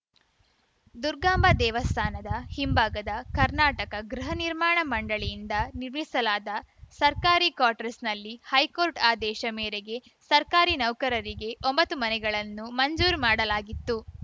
ದುರ್ಗಾಂಬಾ ದೇವಸ್ಥಾನದ ಹಿಂಭಾಗದ ಕರ್ನಾಟಕ ಗೃಹ ನಿರ್ಮಾಣ ಮಂಡಳಿಯಿಂದ ನಿರ್ಮಿಸಲಾದ ಸರ್ಕಾರಿ ಕ್ವಾಟ್ರಸ್‌ನಲ್ಲಿ ಹೈಕೋರ್ಟ್‌ ಆದೇಶ ಮೇರೆಗೆ ಸರ್ಕಾರಿ ನೌಕರರಿಗೆ ಒಂಬತ್ತು ಮನೆಗಳನ್ನು ಮಂಜೂರು ಮಾಡಲಾಗಿತ್ತು